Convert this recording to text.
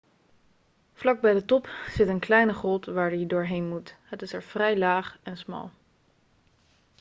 vlak bij de top zit een kleine grot waar je doorheen moet het is er vrij laag en smal